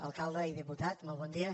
alcalde i diputat molt bon dia